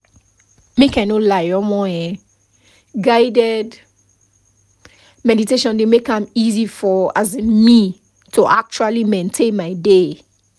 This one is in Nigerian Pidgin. make i no lie [um][um]guided meditation dey make am easy for um me to actually maintain my dey